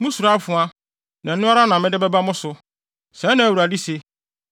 Musuro afoa, na ɛno ara na mede bɛba mo so, sɛɛ na Awurade se.